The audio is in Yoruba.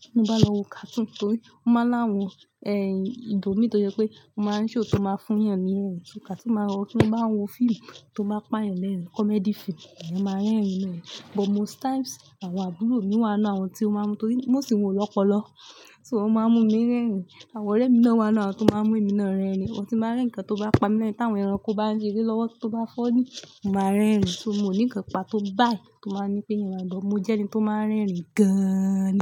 ti mo bá lọ wo kàtún torí ó máa ń lá àwọn ẹ̀yin ibo mi tó jẹ́ pé ó máa ń ṣe òótọ́ máa fún yàn ni ẹ́. Kàtún máa ń rọ, tí mo bá ń wo fíìmù tó máa ń pa ẹ̀ lẹ́rìn, comedy film, à yẹn máa ń rẹ́rìn lẹ́rìn. But most times àwọn àbúrò mi wà nínú àwọn tí ó máa ń mú torí mo sì ń wo lọ́pọ̀lọ́pọ̀, so wọ́n máa ń mú mi rẹ́rìn. Àwọn ọ̀rẹ́ mi náà wà nínú àwọn tí ó máa ń mú èmi náà rẹ́rìn. Ohun tí máa ń rẹ́ ǹkan tó bá pa mí lẹ́rìn, tí àwọn ẹranko bá ń rí lé lọ́wọ́, tó bá fọ́ ní, mo máa ń rẹ́rìn. So mò ní ǹkan pa tó bá yí tó máa ń ní pé èèyàn gbọ́, mo jẹ́ ẹni tó máa ń rẹ́rìn gan-an.